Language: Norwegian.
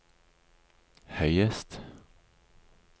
høyest